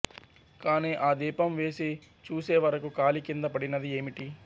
కానీ ఆ దీపం వేసి చూసేవరకు కాలి కింద పడినది ఏమిటి